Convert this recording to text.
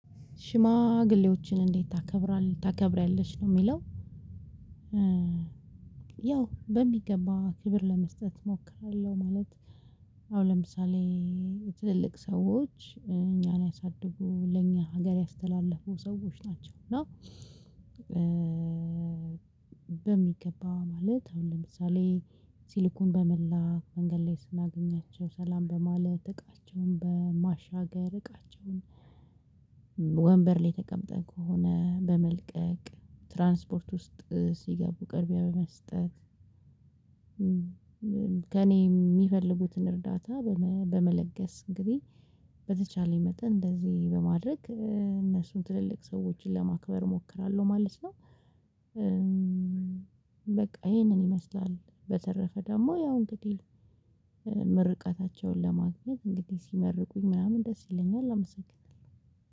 ሽማግሌዎችን እንዴት ታከብራለ ታከብሪያለሽ? ነው የሚለው ያው በሚገባ ክብር ለመስጠት እሞክራለሁ ማለት አሁን ለምሳሌ የትልልቅ ሰዎች እኛን ያሳድጉ ለእኛ ሀገር ያስተላለፉ ሰዎች ናቸው እና በሚገባ ማለት አሁን ለምሳሌ ሲልኩን በመላክ መንገድ ላይ ስናገኛቸው ሰላም በማለት እቃቸውን በማሻገር እቃቸውን ወንበር ላይ ተቀምጠህ ከሆነ በመልቀቅ ትራንስፖርት ውስጥ ሲገቡ ቅድሚያ በመስጠት ከእኔ የሚፈልጉትን እርዳታ በመ በመለገስ እንግዲህ በተቻለኝ መጠን እንደዚህ በማድረግ እነሱን ትልልቅ ሰዎችን ለማክበር እሞክራለሁ ማለት ነው። በቃ ይሄንን ይመስላል በተረፈ ደግሞ ያው እንግዲህ ምርቃታቸውን ለማግኘት እንግዲህ ሲመርቁኝ ምናምን ደስ ይለኛል አመሰግናለሁ።